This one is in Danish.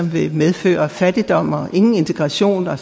vil medføre fattigdom og ingen integration og